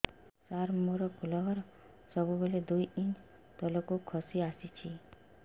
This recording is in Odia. ସାର ମୋର ଫୁଲ ଘର ସବୁ ବେଳେ ଦୁଇ ଇଞ୍ଚ ତଳକୁ ଖସି ଆସିଛି